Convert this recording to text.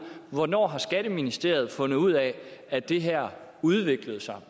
hvornår har skatteministeriet fundet ud af at det her udviklede sig